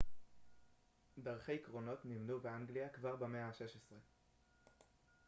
דרכי קרונות נבנו באנגליה כבר במאה ה-16